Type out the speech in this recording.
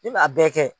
Ne m'a bɛɛ kɛ